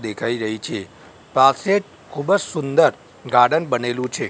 દેખાય રહી છે પાસે ખુબજ સુંદર ગાર્ડન બનેલુ છે.